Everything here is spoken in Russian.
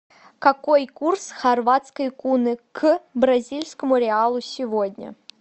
какой курс хорватской куны к бразильскому реалу сегодня